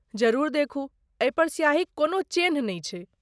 जरूर देखू। एहि पर स्याहीक कोनो चेन्ह नै छै।